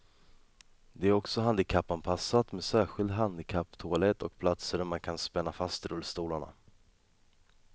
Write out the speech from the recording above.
Det är också handikappanpassat med särskild handikapptoalett och platser där man kan spänna fast rullstolarna.